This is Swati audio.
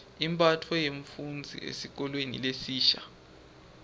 imphatfo yemfufndzi esikolweni lesisha